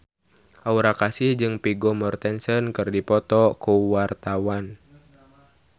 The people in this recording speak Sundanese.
Aura Kasih jeung Vigo Mortensen keur dipoto ku wartawan